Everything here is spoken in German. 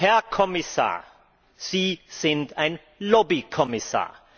Herr Kommissar, Sie sind ein Lobbykommissar!